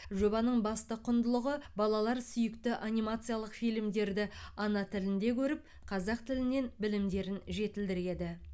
жобаның басты құндылығы балалар сүйікті анимациялық фильмдерді ана тілінде көріп қазақ тілінен білімдерін жетілдіреді